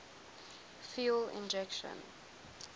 fuel injection